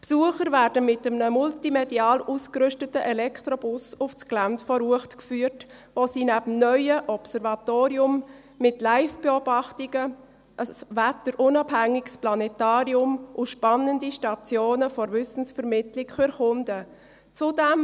Die Besucher werden mit einem multimedial ausgerüsteten Elektrobus auf das Gelände der Uecht geführt, wo sie neben dem neuen Observatorium mit LiveBeobachtungen ein wetterunabhängiges Planetarium und spannende Stationen der Wissensvermittlung erkunden können.